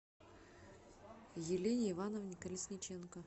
елене ивановне колесниченко